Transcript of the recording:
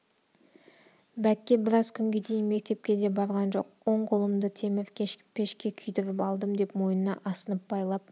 бәкке біраз күнге дейін мектепке де барған жоқ оң қолымды темір пешке күйдіріп алдым деп мойнына асынып байлап